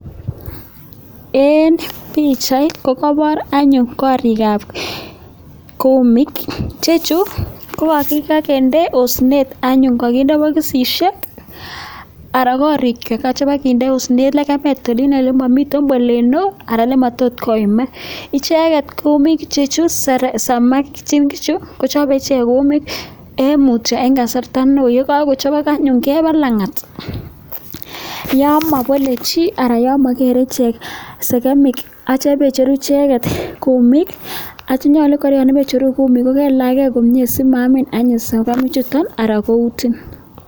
Eng pichait kokaipor anyun koriikab kumiik chechu ko kikakende osinet anyun kakinde bokisisiek anan korikei ko chakinde osinet lekemet olin ole mamiten bolet neo anan matot koimak. Icheket komi sekemikichu kochope ichek kumiik eng kasarta neo, ye kakochop keba langat yon mabole chi anan yon mageere ichek sekemik atyo kocheru ichek kumiik atyo nyolu kora yon picheru kumiik kokelach kei komnye asimaamin anyun sekemik chuton anan koutin.